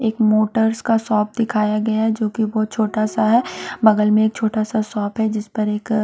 एक मोटर्स का शॉप दिखाया गया है जोकि बहुत छोटा सा है बगल में एक छोटा सा शॉप है जिसपर एक --